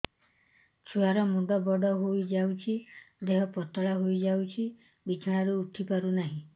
ଛୁଆ ର ମୁଣ୍ଡ ବଡ ହୋଇଯାଉଛି ଦେହ ପତଳା ହୋଇଯାଉଛି ବିଛଣାରୁ ଉଠି ପାରୁନାହିଁ